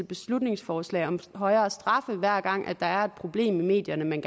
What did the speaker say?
beslutningsforslag om højere straffe hver gang der er et problem i medierne man